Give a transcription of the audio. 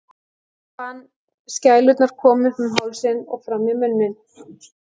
Hún fann skælurnar koma upp um hálsinn og fram í munninn.